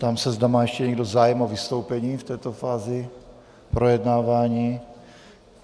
Ptám se, zda má ještě někdo zájem o vystoupení v této fázi projednávání.